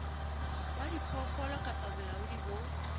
wa diphoofolo kapa bolaodi bo